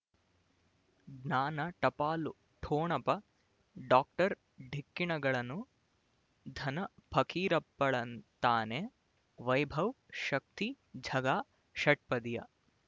ಜ್ಞಾನ ಟಪಾಲು ಠೊಣಪ ಡಾಕ್ಟರ್ ಢಿಕ್ಕಿ ಣಗಳನು ಧನ ಫಕೀರಪ್ಪ ಳಂತಾನೆ ವೈಭವ್ ಶಕ್ತಿ ಝಗಾ ಷಟ್ಪದಿಯ